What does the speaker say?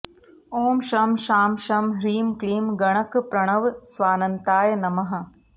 ॐ शं शां षं ह्रीं क्लीं गणकप्रणवस्वान्ताय नमः